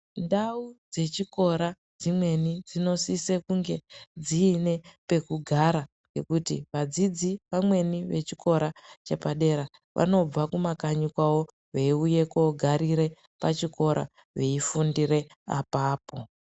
Ndau dzechikora dzimweni dzinosise kunge dziine pekugara ngekuti vadzidzi vamweni vechikora chepadera vanobva kumakanyi kwavo veiuya kogarire pachikora veifundire apapo.